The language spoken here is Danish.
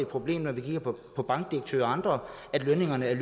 problem når vi kigger på bankdirektører og andre at lønningerne er